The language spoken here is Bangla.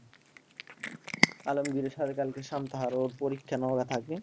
আলমগীরের সাথে কালকে